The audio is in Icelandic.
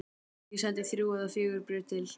Ég sendi þrjú eða fjögur bréf til